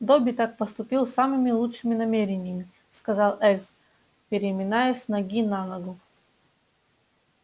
добби так поступил с самыми лучшими намерениями сказал эльф переминаясь с ноги на ногу